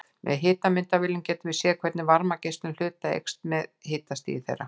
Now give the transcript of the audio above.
Með hitamyndavélum getum við séð hvernig varmageislun hluta eykst með hitastigi þeirra.